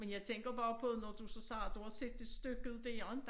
Men jeg tænker bare på når du så siger at du har set det stykket det jo inte